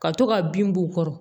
Ka to ka bin b'u kɔrɔ